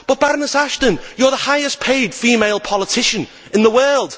But, Baroness Ashton, you are the highest paid female politician in the world.